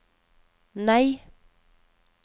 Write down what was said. nei